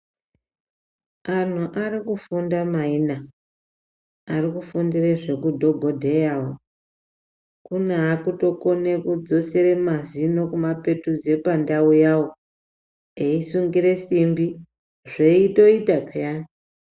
Antu arikufunda maina, arikufundire zvekudhogodheya. kune akutokone kudzosere mazino kumapetudza pandau yawo, eisungire simbi zveitoita peyani.